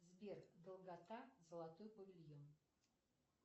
сбер долгота золотой павильон